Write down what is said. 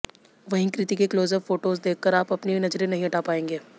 वहीं कृति के close up photos देखकर आप अपनी नजरें नहीं हटा पाएंगे